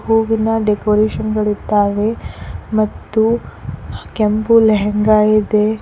ಹೂವಿನ ಡೆಕೋರೇಷನ್ ಗಳಿದ್ದಾವೆ ಮತ್ತು ಕೆಂಪು ಲೆಹಂಗಾ ಇದೆ.